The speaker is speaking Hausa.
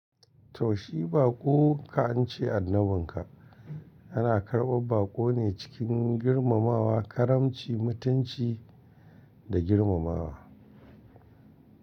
To shi baƙon ka an ce annabin ka, ana karɓar baƙo ne cikin girmamawa, karamci, mutunci da girmamawa.